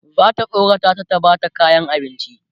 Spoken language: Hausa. zata tsorata ta ta Bata kayan abinci